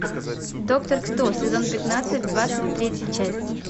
доктор кто сезон пятнадцать двадцать третья часть